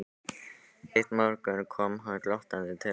Einn morgun kom hann glottandi til okkar og sagði